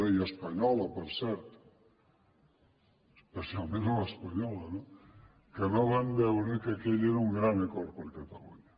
i espanyola per cert especialment a l’espanyola no que no van veure que aquell era un gran acord per a catalunya